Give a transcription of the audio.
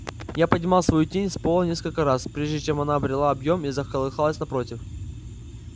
я поднимал свою тень с пола несколько раз прежде чем она обрела объем и заколыхалась напротив